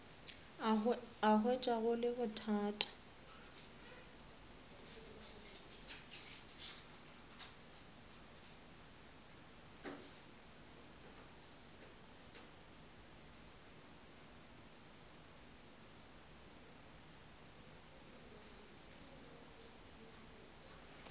a hwetša go le bothata